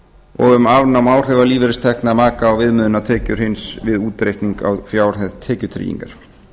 og um afnám áhrifa lífeyristekna maka á viðmiðunartekjur hins við útreikning á fjárhæð tekjutryggingar